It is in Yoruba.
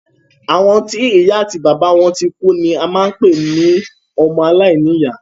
Àwọn tí ìya àti bàbá wọn tikú ni à ń pé ní ọmọ alàìní ìyá.